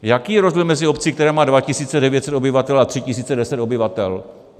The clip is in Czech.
Jaký je rozdíl mezi obcí, která má 2 900 obyvatel a 3 100 obyvatel?